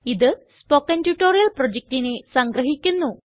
ഇത് spoken tutorial പ്രൊജക്റ്റിനെ സംഗ്രഹിക്കുന്നു